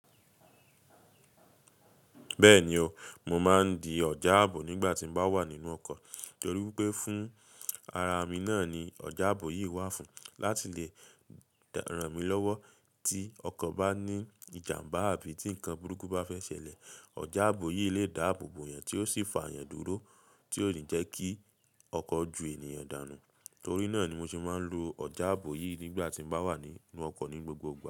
Bẹ́ẹ̀ni o, mo máa ń di ọ̀já ààbò nígbà tí n bá wà nínú ọkọ̀ torí wipé fún ara mi náà ni ọ̀já ààbò yìí wà fún láti lè ràn mí lọ́wọ́ tí ọkọ̀ bá ní ìjàmbá àbí tí nǹkan burúkú bá fẹ́ ṣẹlẹ̀. Ọ̀já ààbò yìí lè dáàbò bo yan tí ó sì fà á yan dúró tí ó yín jẹ́ kí ọkọ̀ ju ènìyàn dànù. Torí náà ni mo ṣe máa ń lo ọ̀já ààbò yìí nígbà tí n bá wà nínú ọkọ̀ ní gbogbo igba.